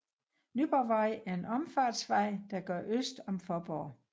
Nyborgvej er en omfartsvej der går øst om Faaborg